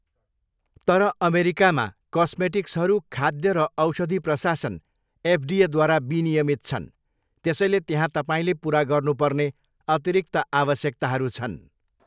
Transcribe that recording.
तर अमेरिकामा, कस्मेटिक्सहरू खाद्य र औषधि प्रशासन, एफडिएद्वारा विनियमित छन्, त्यसैले त्यहाँ तपाईँले पुरा गर्नु पर्ने अतिरिक्त आवश्यकताहरू छन्।